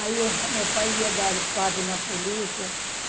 Aí meu pai ia dar parte na polícia.